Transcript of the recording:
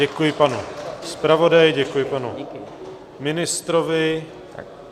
Děkuji panu zpravodaji, děkuji panu ministrovi.